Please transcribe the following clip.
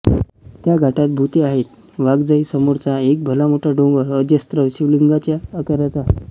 त्या घाटात भुते आहेत वाघजाई समोरचा एक भलामोठा डोंगर अजस्र शिवलिंगाच्या आकाराचा आहे